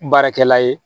Baarakɛla ye